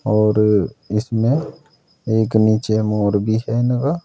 और इसमें एक नीचे मोर भी है लगा।